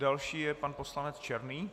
Další je pan poslanec Černý.